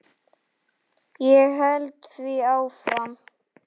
Ég held því áfram.